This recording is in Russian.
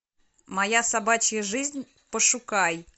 моя собачья жизнь пошукай